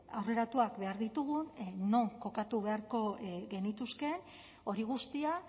aurreratuak behar ditugun non kokatu beharko genituzkeen hori guztia